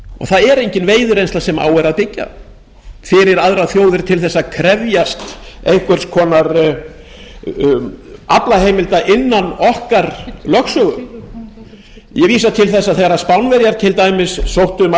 það er engin veiðireynsla sem á er að byggja fyrir aðrar þjóðir til þess að krefjast einhvers konar aflaheimilda innan lögsögu okkar ég vísa til þess að þegar til dæmis spánverjar sóttu um aðild